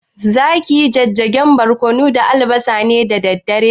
Zaki yi jijjigen barƙwano da albasa ne da dare?